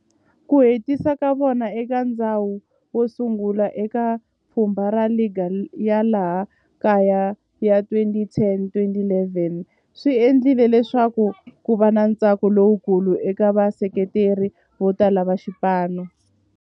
Ku hetisa ka vona eka ndzhawu yosungula eka pfhumba ra ligi ya laha kaya ya 2010-11 swi endle leswaku kuva na ntsako lowukulu eka vaseketeri votala va xipano.